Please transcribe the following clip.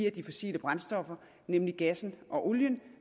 af de fossile brændstoffer nemlig gassen og olien